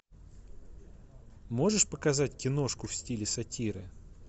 можешь показать киношку в стиле сатиры